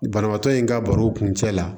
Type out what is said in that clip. Banabaatɔ in ka baro kun cɛ la